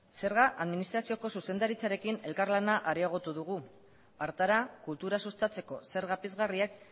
zerga administrazioko zuzendaritzarekin elkarlana areagotu dugu hartara kultura sustatzeko zerga pizgarriak